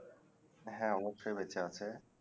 হ্যাঁ অবশ্যই বেঁচে আছে